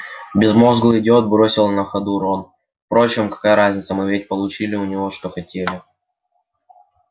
безмозглый идиот бросил на ходу рон впрочем какая разница мы ведь получили у него что хотели